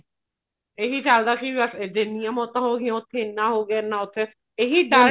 ਇਹੀ ਚਲਦਾ ਸੀ ਬੱਸ ਜਿੰਨੀਆ ਮੋਤਾਂ ਹੋਗੀਆਂ ਉੱਥੇ ਨਾ ਹੋਗੇ ਨਾ ਉੱਥੇ ਇਹੀ ਡਰ